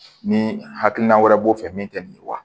Ni hakilina wɛrɛ b'o fɛ min te nin ye wa